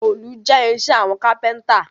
Òòlù jẹ́ irinṣẹ́ àwọn kápẹ́ntà